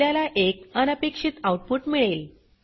आपल्याला एक अनपेक्षित आउटपुट मिळेल